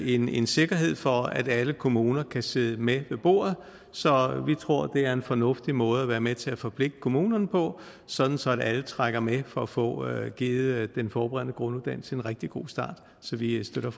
en en sikkerhed for at alle kommuner kan sidde med ved bordet så vi tror det er en fornuftig måde at være med til at forpligte kommunerne på sådan sådan at alle trækker med for at få givet den forberedende grunduddannelse en rigtig god start så vi støtter